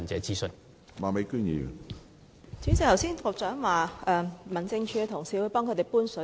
主席，局長剛才說民政署的同事會為村民搬水。